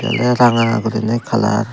yen oly ranga guriney colour.